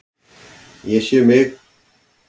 Ég sé um mig.